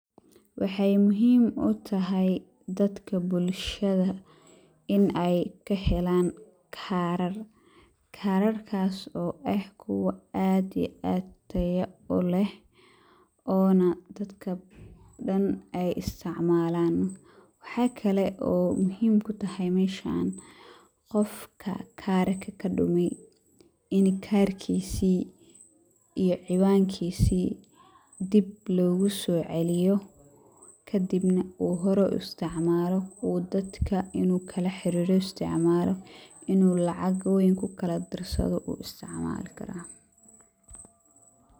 Waxaay muhiim utahay dadka bulshada in aay kahelaan kaarar, karar kaas oo eh kuwa aad iyo aad tayo uleh oona dadka dan aay isticmaalan, waxaa kale oo muhiim kutahay meeshan qofka kaar kadume in kaarkiisi iyo ciwaankiisi dib loogu soo celiyo kadibna uu hore uisticmaalo oo dadka inuu kala xariiro uisticmaalo inuu lacag weyn kukala dirsado uisticmaali karaa.